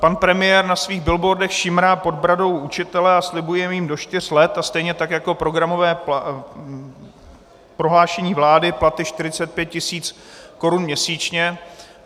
Pan premiér na svých billboardech šimrá pod bradou učitele a slibuje jim do čtyř let, a stejně tak jako programové prohlášení vlády, platy 45 tisíc korun měsíčně.